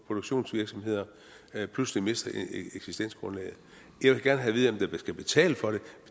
produktionsvirksomheder pludselig mister eksistensgrundlaget jeg vil gerne have at vide hvem der skal betale for det